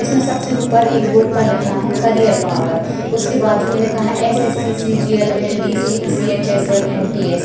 इसमें सबसे ऊपर एक बोर्ड पर लिखा है कैरियर पावर उसके बाजू में लिखा है SSC. CGL. LDC. CHSL. MTS..